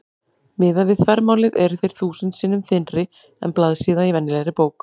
Miðað við þvermálið eru þeir þúsund sinnum þynnri en blaðsíða í venjulegri bók.